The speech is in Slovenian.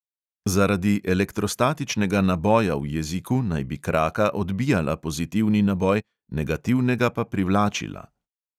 Zaradi elektrostatičnega naboja v jeziku naj bi kraka odbijala pozitivni naboj, negativnega pa privlačila.